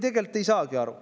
Tegelikult ei saagi aru.